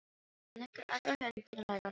Hann leggur aðra hönd vinalega á læri hennar.